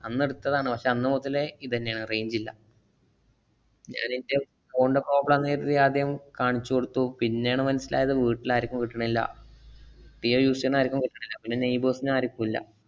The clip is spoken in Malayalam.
അന്നെടുത്തതാണ്. പക്ഷെ അന്നുമുതലേ ഇദന്നെയാണ് range ഇല്ല. ഞാനെന്‍റെ ഫോണിന്‍റ problem ആണെന്ന് കരുതി ആദ്യം കാണിച്ചു കൊടുത്തു. പിന്നേണ് മനസിലായത് വീട്ടില് ആര്ക്കും കിട്ടണില്ല. ജിയോ use ചെയ്യണ ആര്ക്കും കിട്ടണില്ല. പിന്നെ neigbours ന് ആര്ക്കും ഇല്ല.